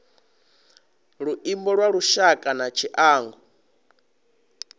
luimbo lwa lushaka na tshiangu